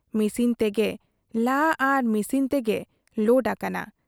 Machine ᱛᱮᱜᱮ ᱞᱟ ᱟᱨ ᱢᱤᱥᱤᱱ ᱛᱮᱜᱮ ᱞᱳᱰ ᱟᱠᱟᱱᱟ ᱾